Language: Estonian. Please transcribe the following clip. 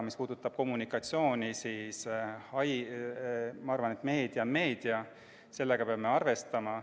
Mis puudutab kommunikatsiooni, siis ma arvan, et meedia on meedia, sellega peame arvestama.